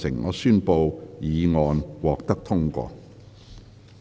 我宣布議案獲得通過。